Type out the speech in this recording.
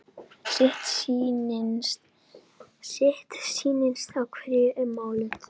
Sitt sýnist hverjum um málið.